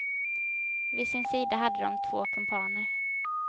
Vid sin sida hade ha två kumpaner.